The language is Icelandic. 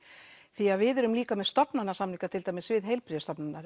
því að við erum líka með stofnanasamninga til dæmis við heilbrigðisstofnanirnar